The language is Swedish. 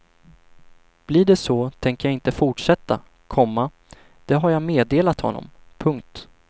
Blir det så tänker jag inte fortsätta, komma det har jag meddelat honom. punkt